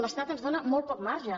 l’estat ens dóna molt poc marge